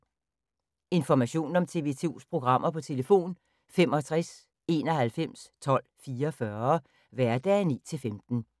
Information om TV 2's programmer: 65 91 12 44, hverdage 9-15.